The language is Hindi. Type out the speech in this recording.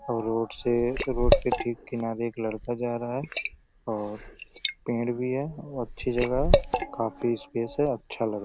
और रोड से रोड के ठीक किनारे एक लड़का जा रहा है और पेड़ भी है और अच्छी जगह है काफी स्पेस है। अच्छा लग --